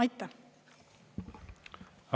Aitäh!